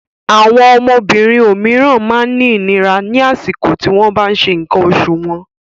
Àwọn obìnrin òmíràn máa ń rí ìnira ní àsìkò tí wọ́n bá ń ṣe nǹkan oṣù wọn.